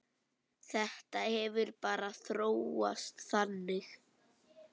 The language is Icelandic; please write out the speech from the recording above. Þetta hefur bara þróast þannig.